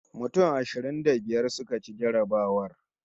Mutum ashirin da biyar suka ci jarrabawar